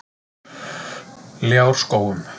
Ljárskógum